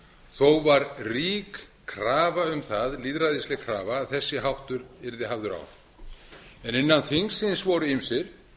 þó var rík krafa um það lýðræðisleg krafa að þessi háttur yrði hafður á innan þingsins voru ýmsir